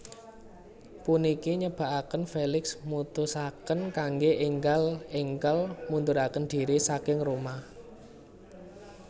Puniki nyebabaken Felix mutusaken kanggé énggal énggal munduraken dhiri saking Roma